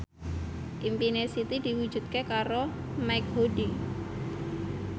impine Siti diwujudke karo Mike Mohede